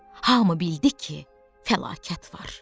Hamı bildi ki, fəlakət var.